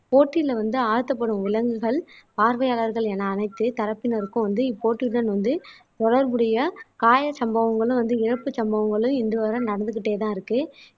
போட்டியில வந்து ஆழ்த்தப்படும் விலங்குகள் பார்வையாளர்கள் என அனைத்து தரப்பினருக்கும் வந்து இப்போட்டிதான் வந்து தொடர்புடைய காயச் சம்பவங்களும் வந்து இறப்பு சம்பவங்களும் இன்று வரை நடந்துக்கிட்டேதான் இருக்கு